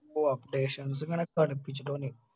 ഓ updations ഇങ്ങനെ